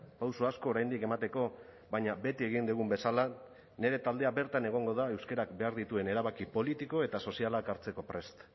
pauso asko oraindik emateko baina beti egin dugun bezala nire taldea bertan egongo da euskarak behar dituen erabaki politiko eta sozialak hartzeko prest